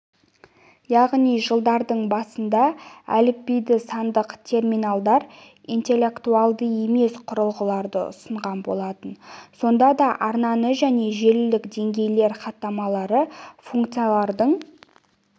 яғни жылдардың басында әліпбиді сандық терминалдар интеллектуалды емес құрылғыларды ұсынған болатын сонда да арнаны және желілік деңгейлер хаттамалары функцияларының